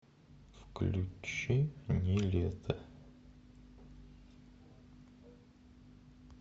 включи нилетто